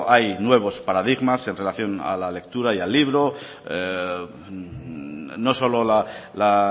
hay nuevos paradigmas en relación a la lectura y al libro no solo la